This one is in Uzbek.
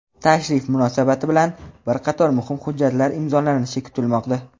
Tashrif munosabati bilan bir qator muhim hujjatlar imzolanishi kutilmoqda.